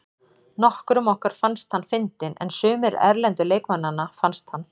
Nokkrum okkar fannst hann fyndinn en sumir erlendu leikmannanna fannst hann.